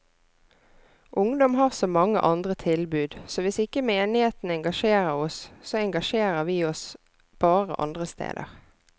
Ungdom har så mange andre tilbud, så hvis ikke menigheten engasjerer oss, så engasjerer vi oss bare andre steder.